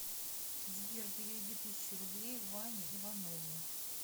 сбер переведи тысячу рублей ване иванову